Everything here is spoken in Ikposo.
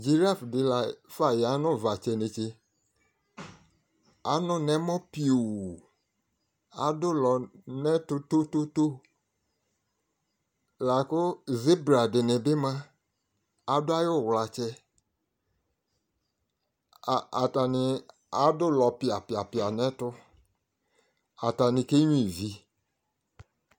dziraf di lafa ya no uvatsɛ netse ano no ɛmɔ pio ado ulɔ no ɛto tototo la ko zebra di ni bi moa ado ayi uwlatsɛ atani ado ulɔ pia pia pia no ɛto atani kenyua ivi